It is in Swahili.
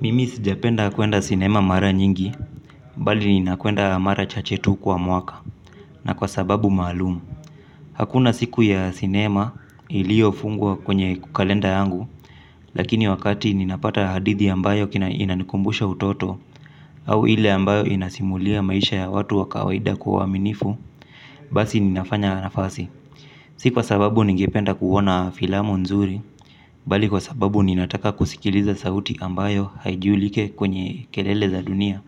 Mimi sijapenda kuenda cinema mara nyingi, mbali ninakwenda mara chache tu kwa mwaka na kwa sababu maalum. Hakuna siku ya cinema iliofungwa kwenye kalenda yangu, lakini wakati ninapata hadithi ambayo kina inanikumbusha utoto au ile ambayo inasimulia maisha ya watu wa kawaida kwa uwaminifu, basi ninafanya nafasi. Si kwa sababu ningependa kuona filamu nzuri, bali kwa sababu ninataka kusikiliza sauti ambayo haijulike kwenye kelele za dunia.